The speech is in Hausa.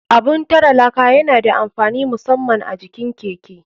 Abun tare laka yana da amfani musaman a jikin keke.